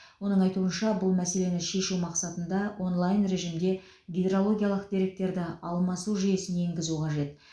оның айтуынша бұл мәселені шешу мақсатында онлайн режімде гидрологиялық деректерді алмасу жүйесін енгізу қажет